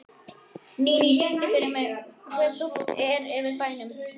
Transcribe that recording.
Níní, syngdu fyrir mig „Hve þungt er yfir bænum“.